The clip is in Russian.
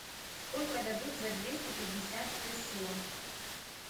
сколько дадут за двести пятьдесят песо